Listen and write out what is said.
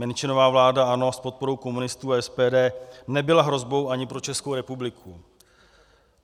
Menšinová vláda ANO s podporou komunistů a SPD nebyla hrozbou ani pro Českou republiku.